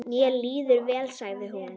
Mér líður vel, sagði hún.